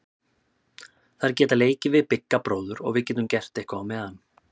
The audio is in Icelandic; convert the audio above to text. Þær geta leikið við Bigga bróður og við getum gert eitthvað á meðan.